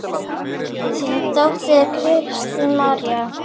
Þín dóttir, Kristín María.